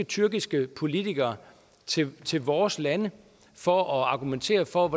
tyrkiske politikere skal til vores lande for at argumentere for